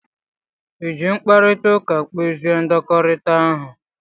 I ji mkparịta ụka kpezie ndọkọrita ahụ?